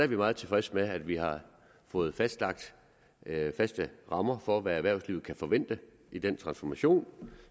vi meget tilfredse med at vi har fået fastlagt rammer for hvad erhvervslivet kan forvente i den transformation